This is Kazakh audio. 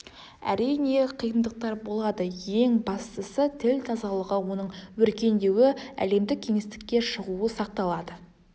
әрине қиындықтар болады ең бастысы тіл тазалығы оның өркендеуі әлемдік кеңістікке шығуы сақталады